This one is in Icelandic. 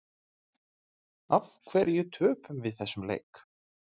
Af hverju töpum við þessum leik?